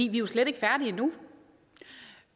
er jo slet ikke færdige endnu